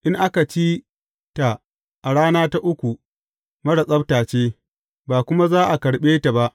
In aka ci ta a rana ta uku, marar tsabta ce, ba kuma za a karɓe ta ba.